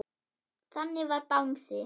Þannig var Bangsi.